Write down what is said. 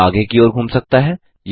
यह आगे की ओर घूम सकता है